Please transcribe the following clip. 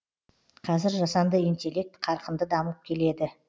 қазір жасанды интеллект қарқынды дамып келеді